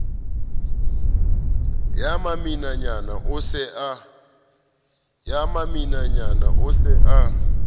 ya maminanyana o se a